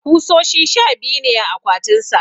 kusoshi sha biyu ne a akwatin sa